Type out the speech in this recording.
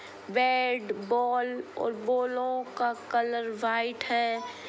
Bat ball और बॉलो का कलर व्हाइट है।